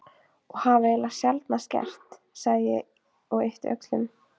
Og hafa eiginlega sjaldnast gert, sagði ég og yppti öxlum.